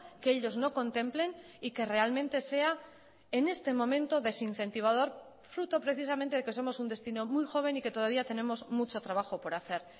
que ellos no contemplen y que realmente sea en este momento desincentivador fruto precisamente de que somos un destino muy joven y que todavía tenemos mucho trabajo por hacer